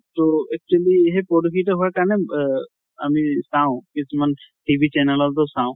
তʼ actually সেই প্ৰদূষিত হোৱাৰ কাৰণে অহ আমি চাওঁ কিছুমান TV channel তো চাওঁ